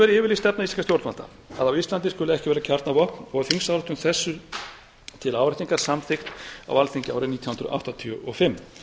löngum verið yfirlýst stefna íslenskra stjórnvalda að á íslandi skuli ekki vera kjarnavopn og þingsályktun þessu til áréttingar var samþykkt á alþingi árið nítján hundruð áttatíu og fimm